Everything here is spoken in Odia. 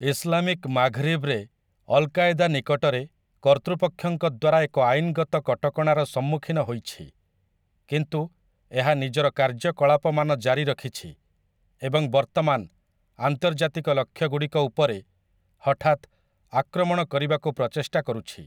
ଇସ୍‌ଲାମିକ୍ ମାଘ୍‌ରିବ୍‌ରେ ଅଲ୍ କାଏଦା ନିକଟରେ କର୍ତ୍ତୃପକ୍ଷଙ୍କ ଦ୍ୱାରା ଏକ ଆଇନ୍‌ଗତ କଟକଣାର ସମ୍ମୁଖୀନ ହୋଇଛି, କିନ୍ତୁ ଏହା ନିଜର କାର୍ଯ୍ୟକଳାପମାନ ଜାରି ରଖିଛି ଏବଂ ବର୍ତ୍ତମାନ ଆନ୍ତର୍ଜାତିକ ଲକ୍ଷ୍ୟଗୁଡ଼ିକ ଉପରେ ହଠାତ୍ ଆକ୍ରମଣ କରିବାକୁ ପ୍ରଚେଷ୍ଟା କରୁଛି ।